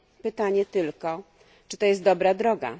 Pytanie tylko, czy jest to dobra droga?